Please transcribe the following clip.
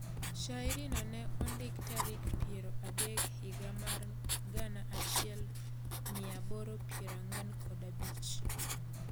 Shairi no ne ondik tarik piero adek higa mar gana achiel mia aboro piero ang'uen kod abich